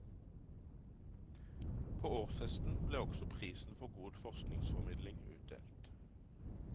På årsfesten ble også prisen for god forskningsformidling utdelt.